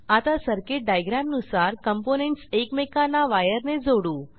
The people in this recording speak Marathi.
आता सर्किट डायग्रॅमनुसार कॉम्पोनेंट्स एकमेकांना वायर ने जोडू